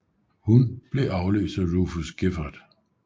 Hun blev afløst af Rufus Gifford